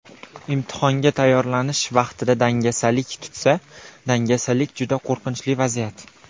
Imtihonga tayyorlanish vaqtida dangasalik tutsa.... Dangasalik juda qo‘rqinchli vaziyat.